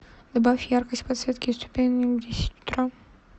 добавь яркость подсветки ступенек в десять утра